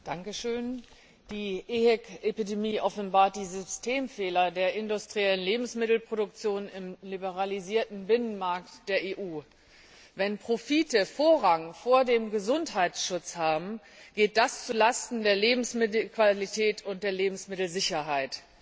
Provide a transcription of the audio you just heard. Herr Präsident! Die EHEC Epidemie offenbart die Systemfehler der industriellen Lebensmittelproduktion im liberalisierten Binnenmarkt der EU. Wenn Profite Vorrang vor dem Gesundheitsschutz haben, geht das zu Lasten der Lebensmittelqualität und der Lebensmittelsicherheit.